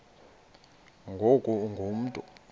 ngoku ungu mntu